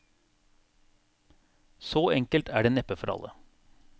Så enkelt er det neppe for alle.